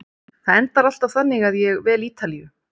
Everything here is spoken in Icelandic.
Það endar alltaf þannig að ég vel Ítalíu.